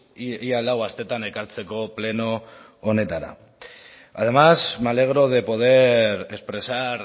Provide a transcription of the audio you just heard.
ia lau astetan ekartzeko pleno honetara además me alegro de poder expresar